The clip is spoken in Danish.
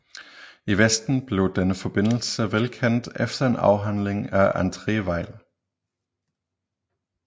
I Vesten blev denne forbindelse velkendt efter en afhandling af André Weil